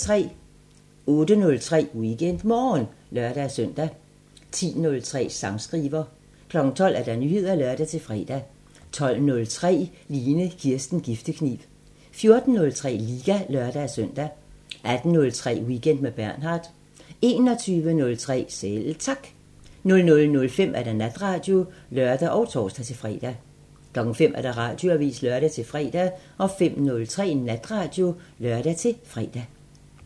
08:03: WeekendMorgen (lør-søn) 10:03: Sangskriver 12:00: Nyheder (lør-fre) 12:03: Line Kirsten Giftekniv 14:03: Liga (lør-søn) 18:03: Weekend med Bernhard 21:03: Selv Tak 00:05: Natradio (lør og tor-fre) 05:00: Radioavisen (lør-fre) 05:03: Natradio (lør-fre)